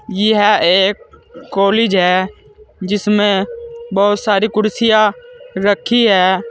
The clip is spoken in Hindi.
यह एक कॉलेज है जिसमें बहुत सारी कुर्सियां रखी हैं।